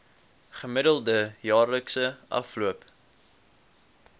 gemiddelde jaarlikse afloop